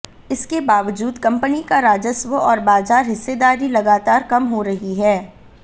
इसके बावजूद कंपनी का राजस्व और बाजार हिस्सेदारी लगातार कम हो रही है